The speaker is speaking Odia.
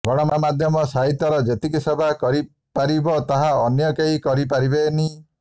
ଗଣମାଧ୍ୟମ ସାହିତ୍ୟର ଯେତିକି ସେବା କରିପାରିବ ତାହା ଅନ୍ୟ କେହି କରିପାରିବେନି